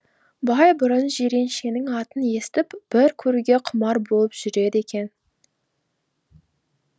бай бұрын жиреншенің атын естіп бір көруге құмар болып жүреді екен